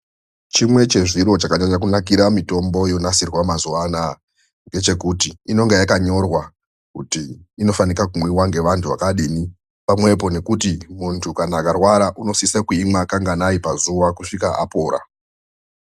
Chimwe chezviro chakanyanya kunakira mitombo yogadzirwa mazuva anaya. Ngechekuti inenge yakanyorwa kuti inofanika kumwiva nevantu vakadii, pamwepo ngekuti muntu akarwara anosisa kuimwa kanganai pazuva kusvika apora.